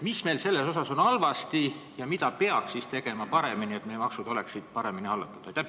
Mis meil selles asjas halvasti on ja mida peab tegema paremini, et meie maksud oleksid paremini hallatud?